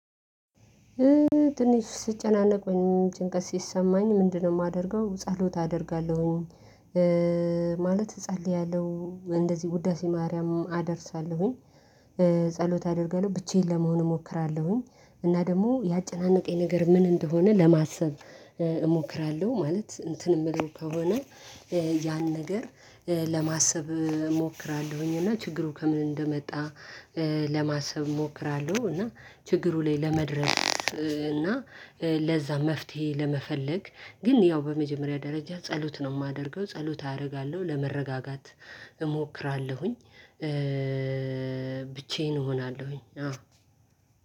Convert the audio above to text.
ትንሽ ስጨናነቁኝ ወይጭንቀት ሲሰማኝ ምንድነው የማደርገው ጸሎት አደርጋለሁኝ፤ ማለት እጸልያለሁ እንደዚህ ውዳሴ ማርያምም አደርሳለሁኝ፤ ጸሎት አደርጋለሁ ብቻዬን ለመሆን እሞክራለሁኝ እና ደግሞ ያጨናነቀኝ ነገር ምን እንደሆነ ለማሰብ እሞክራለሁ። ማለት እንትን የምለው ከሆነ ያን ነገር ለማሰብ እሞክራለሁኝ እና ችግሩ ከምን እንደመጣ ለማሰብ እሞክራለሁ እና ችግሩ ላይ ለመድረስ እና ለዛ መፍትሄ ለመፈለግ ግን ያው በመጀመሪያ ደረጃ ጸሎት ነው የማደርገው፤ ጸሎት አደርጋለሁ ለመረጋጋት እሞክራለሁኝ፤ ብቻዬን እሆናለሁኝ። አዎ